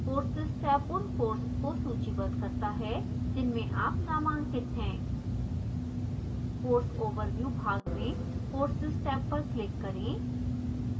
courses tab उन courses को सूचीबद्ध करता है जिनमें आप नामांकित हैं course overview भाग में courses टैब पर click करें